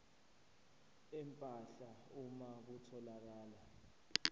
empahla uma kutholakala